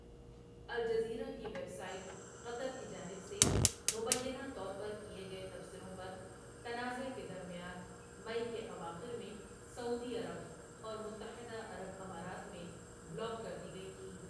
Al Jazeera کی website Qatar کی جانب سے مبینہ طور پر کیے گئے تبصروں پر تنازعہ کے درمیان مئی کے اواخر میں سعودی عرب اور متحدہ عرب امارات میں بلاک کر دی گئی تھی۔